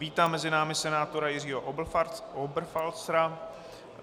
Vítám mezi námi senátora Jiřího Oberfalzera.